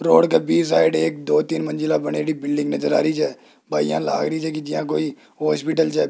road side एक दो तीन मंजिला बने बिल्डिंग नजर आ रही है है कोई हॉस्पिटल जै --